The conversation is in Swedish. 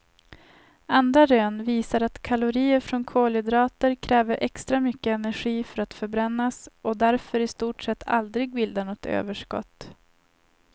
Andra rön visar att kalorier från kolhydrater kräver extra mycket energi för att förbrännas och därför i stort sett aldrig bildar något överskott.